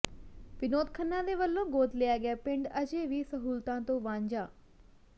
ਵਿਨੋਦ ਖੰਨਾ ਦੇ ਵੱਲੋਂ ਗੋਦ ਲਿਆ ਗਿਆ ਪਿੰਡ ਅਜੇ ਵੀ ਸਹੂਲਤਾਂ ਤੋਂ ਵਾਂਝਾ